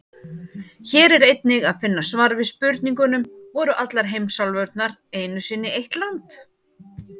Hér er einnig að finna svar við spurningunum: Voru allar heimsálfurnar einu sinni eitt land?